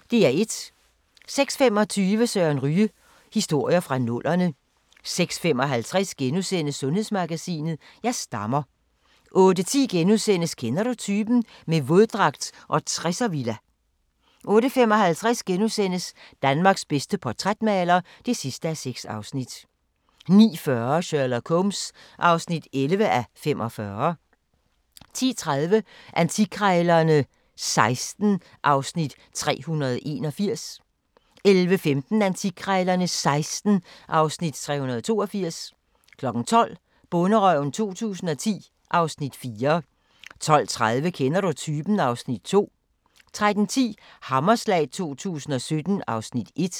06:25: Søren Ryge: Historier fra nullerne 06:55: Sundhedsmagasinet: Jeg stammer * 08:10: Kender du typen? - med våddragt og 60'er-villa * 08:55: Danmarks bedste portrætmaler (6:6)* 09:40: Sherlock Holmes (11:45) 10:30: Antikkrejlerne XVI (Afs. 381) 11:15: Antikkrejlerne XVI (Afs. 382) 12:00: Bonderøven 2010 (Afs. 4) 12:30: Kender du typen? (Afs. 2) 13:10: Hammerslag 2017 (Afs. 1)